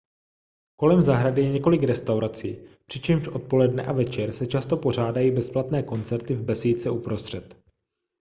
kolem zahrady je několik restaurací přičemž odpoledne a večer se často pořádají bezplatné koncerty v besídce uprostřed